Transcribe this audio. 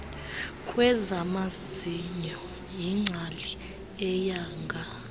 kwezamazinyo yingcali eyanga